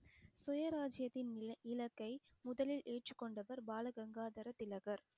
சுயராஜ்ஜியத்தின் இல~ இலக்கை முதலில் ஏற்றுக் கொண்டவர் பால கங்காதர திலகர்